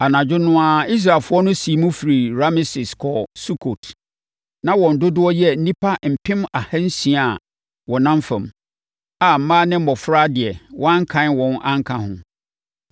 Anadwo no ara, Israelfoɔ no siim firii Rameses kɔɔ Sukot. Na wɔn dodoɔ yɛ nnipa mpem ahansia a wɔnam fam, a mmaa ne mmɔfra de wɔankan wɔn anka ho.